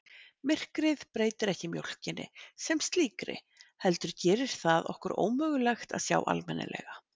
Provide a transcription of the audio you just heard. Myrkrið breytir ekki mjólkinni sem slíkri heldur gerir það okkur ómögulegt að sjá almennilega.